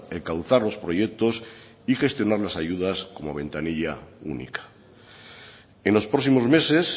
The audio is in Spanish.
encauzar los proyectos y gestionar las ayudas como ventanilla única en los próximos meses